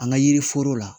An ka yiri foro la